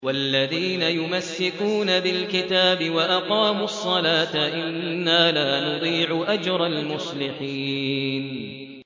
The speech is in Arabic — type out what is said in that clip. وَالَّذِينَ يُمَسِّكُونَ بِالْكِتَابِ وَأَقَامُوا الصَّلَاةَ إِنَّا لَا نُضِيعُ أَجْرَ الْمُصْلِحِينَ